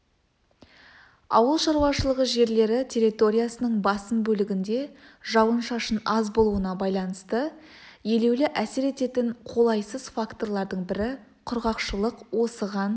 ауыл шаруашылық жерлері территориясының басым бөлігінде жауын-шашын аз болуына байланысты елеулі әсер ететін қолайсыз факторлардың бірі құрғақшылық осыған